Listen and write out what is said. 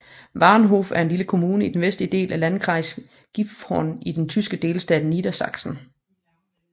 Wagenhoff er en lille kommune i den vestlige del af Landkreis Gifhorn i den tyske delstat Niedersachsen